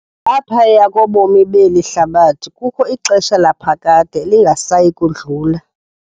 Ngaphaya kobomi beli hlabathi kukho ixesha laphakade elingasayi kudlula.